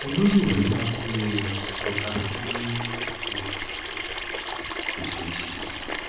olóye ò lè máa pe ọba síbi ìpàdé kó ṣeé ṣe